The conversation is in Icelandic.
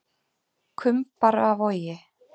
Kumbaravogi